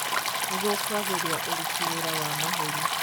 Nĩguo kwagĩria ũruti wĩra wa mahũri